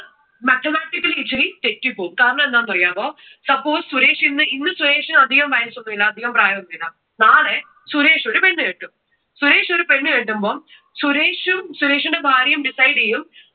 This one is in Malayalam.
ഇച്ചിരി തെറ്റിപ്പോകും. കാരണം എന്താന്ന് അറിയാമോ? suppose സുരേഷ് ഇന്ന്, ഇന്നു സുരേഷിന് അധികം വയസ്സ് ഒന്നുമില്ല. അധികം പ്രായം ഒന്നുമില്ല. നാളെ സുരേഷ് ഒരു പെണ്ണ് കെട്ടും. സുരേഷ് ഒരു പെണ്ണ് കെട്ടുമ്പോ സുരേഷും സുരേഷിന്റെ ഭാര്യയും decide ചെയ്യും